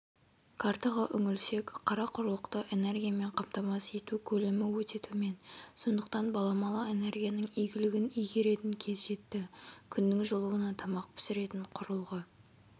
картаға үңілсек қарақұрлықты энергиямен қамтамасыз ету көлемі өте төмен сондықтан баламалы энергияның игілігін игеретін кез жетті күннің жылуына тамақ пісіретін құрылғы